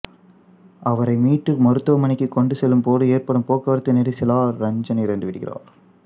அவரை மீட்டு மருத்துவமனைக்கு கொண்டு செல்லும்போது ஏற்படும் போக்குவரத்து நெரிசலால் ரஞ்சன் இறந்துவிடுகிறார்